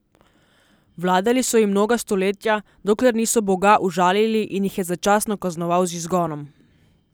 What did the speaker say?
Vladali so ji mnoga stoletja, dokler niso boga užalili in jih je začasno kaznoval z izgonom.